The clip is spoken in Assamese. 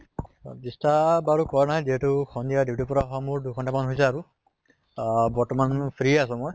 disturb বাৰু কৰা নাই যিহেতু সন্ধিয়া duty ৰ পৰা অহা মোৰ দুই ঘন্টামান হৈছে আৰু। আহ বৰ্তমান মোৰ free আছো মই।